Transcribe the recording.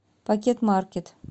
пакетмаркет